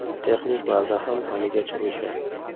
Texnik baza ham haligacha o‘sha.